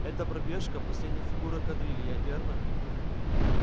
эта пробежка последняя фигура кадрили верно